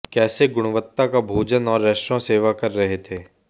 कैसे गुणवत्ता का भोजन और रेस्तरां सेवा कर रहे थे